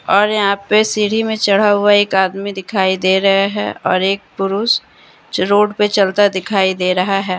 और यहां पे सीढ़ी में चढ़ा हुआ एक आदमी दिखाई दे रहा है और एक पुरुष जो रोड पे चलता दिखाई दे रहा है।